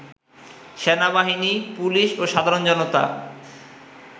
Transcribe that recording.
সেনাবাহিনী, পুলিশ ও সাধারণ জনতা